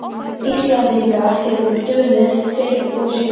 Íslendinga hefur dunið fyrr og síðar.